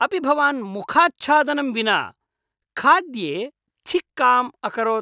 अपि भवान् मुखाच्छादनं विना खाद्ये छिक्काम् अकरोत्?